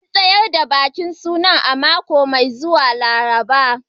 An tsayar da bikin suna a mako mai zuwa Laraba